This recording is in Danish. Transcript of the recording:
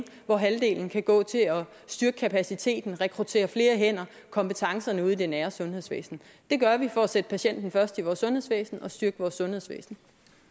hvor halvdelen kan gå til at styrke kapaciteten rekruttere flere hænder kompetencerne ude i det nære sundhedsvæsen det gør vi for at sætte patienten først i vores sundhedsvæsen og styrke vores sundhedsvæsen